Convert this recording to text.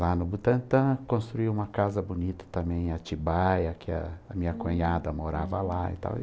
Lá no Butantã, construí uma casa bonita também, Atibaia, que a minha cunhada morava lá e tal.